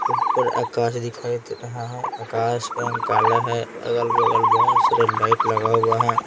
ऊपर आकाश दिखाई दे रहा है आकाश का रंग काला है अगल-बगल बहुत सारे लाइट लगा हुआ है।